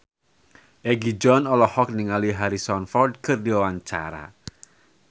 Egi John olohok ningali Harrison Ford keur diwawancara